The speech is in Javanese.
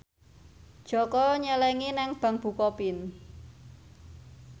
Jaka nyelengi nang bank bukopin